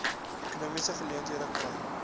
ekonomiese geleenthede kry